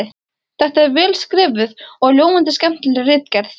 Þetta er vel skrifuð og ljómandi skemmtileg ritgerð!